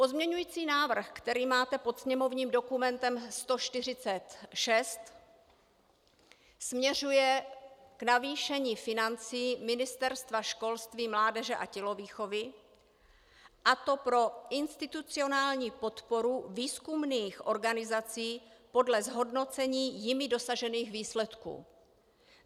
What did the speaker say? Pozměňovací návrh, který máte pod sněmovním dokumentem 146, směřuje k navýšení financí Ministerstva školství, mládeže a tělovýchovy, a to pro institucionální podporu výzkumných organizací podle zhodnocení jimi dosažených výsledků.